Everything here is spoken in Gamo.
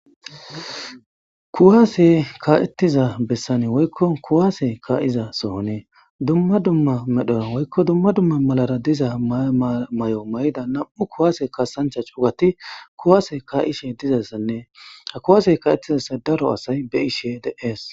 kuwaase kaettiza bessane woykko kuwaase ka7iza sohonee dumma dumma medhora woykko dumma dumma malara diza may7o may7ida nam7u kuwaase kasancha cugati kuwaase kaishe dizassannee ha kuwaase ka7ettizasa daro asay be ishe deees